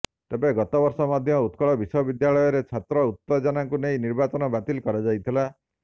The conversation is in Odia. ତେବେ ଗତ ବର୍ଷ ମଧ୍ୟ ଉତ୍କଳ ବିଶ୍ୱବିଦ୍ୟାଳୟରେ ଛାତ୍ର ଉତ୍ତେଜନାକୁ ନେଇ ନିର୍ବାଚନ ବାତିଲ କରାଯାଇଥିଲା